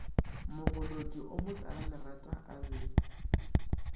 mogolodi o motalalerata a be